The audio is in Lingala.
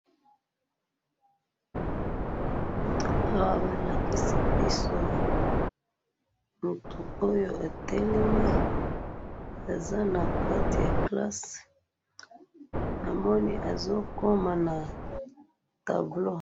Awa balakisi biso mutu oyo atelemi aza nakati ya classe namoni azo koma na tableau.